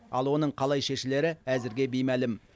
ал оның қалай шешілері әзірге беймәлім